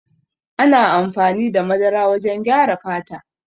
Ana amfani da madara wajen gyara fata.